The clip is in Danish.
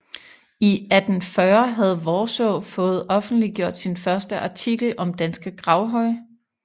I 1840 havde Worsaae fået offentliggjort sin første artikel om danske gravhøje